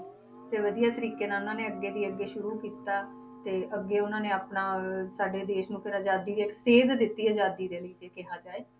ਤੇ ਵਧੀਆ ਤਰੀਕੇ ਨਾਲ ਉਹਨਾਂ ਨੇ ਅੱਗੇ ਦੀ ਅੱਗੇ ਸ਼ੁਰੂ ਕੀਤਾ ਤੇ ਅੱਗੇ ਓਹਨਾ ਨੇ ਆਪਣਾ ਸਾਡੇ ਦੇਸ਼ ਨੂੰ ਫਿਰ ਆਜ਼ਾਦੀ ਇੱਕ ਸੇਧ ਦਿੱਤੀ ਆਜ਼ਾਦੀ ਦੇ ਲਈ ਜੇ ਕਿਹਾ ਜਾਏ